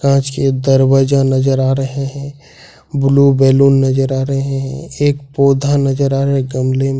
कांच के दरवाजा नजर आ रहे हैं ब्लू बैलून नजर आ रहे हैं एक पौधा नजर आ रहा है गमले में।